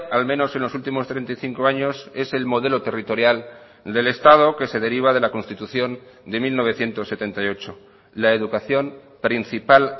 al menos en los últimos treinta y cinco años es el modelo territorial del estado que se deriva de la constitución de mil novecientos setenta y ocho la educación principal